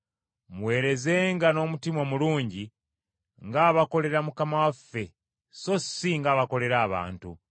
Muweerezenga n’omutima omulungi ng’abakolera Mukama waffe so si ng’abakolera abantu,